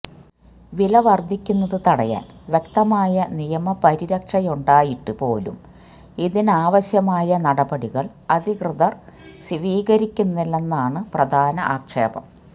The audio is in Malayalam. വില വര്ധിക്കുന്നത് തടയാന് വ്യക്തമായ നിയമ പരിരക്ഷയുണ്ടായിട്ട് പോലും ഇതിനാവശ്യമായ നടപടികള് അധികൃതര് സ്വീകരിക്കുന്നില്ലെന്നാണ് പ്രധാന ആക്ഷേപം